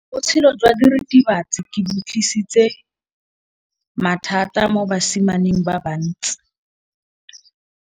Botshelo jwa diritibatsi ke bo tlisitse mathata mo basimaneng ba bantsi.